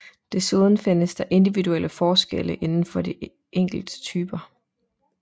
Desuden findes der individuelle forskelle inden for de enkelte typer